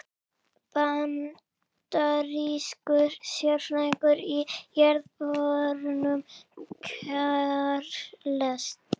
Bandarískur sérfræðingur í jarðborunum, Charles